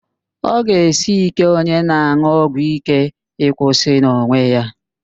Ọ ga-esi íké onye na-an̄ụ ọgwụíké ịkwụsị n'onwe ya